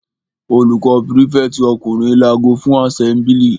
Olórí prífẹ̀tì ọkùnrin lago fún àsẹ́mblì.